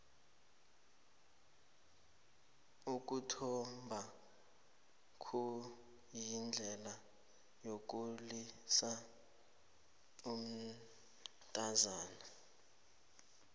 ukuthomba kuyindlela yokukhulisa umntazana